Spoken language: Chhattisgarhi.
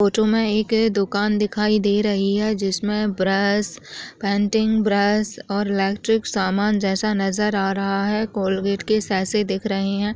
फोटो में एक दुकान दिखाई दे रही है जिसमें ब्रश पेंटिंग ब्रश और इलेक्ट्रिक सामान जैसा नज़र आ रहा है कोलगेट के जैसा दिख रहे हैं।